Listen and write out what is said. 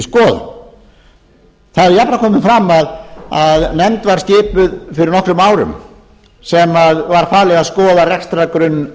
skoðun það hefur jafnframt komið fram að nefnd var skipuð fyrir nokkrum árum sem var falið að skoða rekstrargrunn